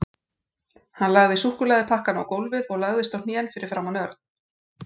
Hann lagði súkkulaðipakkana á gólfið og lagðist á hnén fyrir framan Örn.